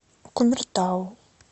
кумертау